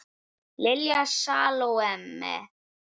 Lilja Salóme.